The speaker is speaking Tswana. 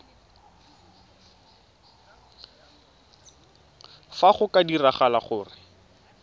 fa go ka diragala gore